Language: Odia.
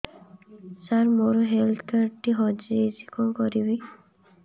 ସାର ମୋର ହେଲ୍ଥ କାର୍ଡ ଟି ହଜି ଯାଇଛି କଣ କରିବି